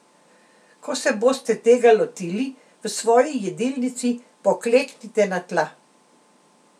Ko se boste tega lotili, v svoji jedilnici, pokleknite na tla.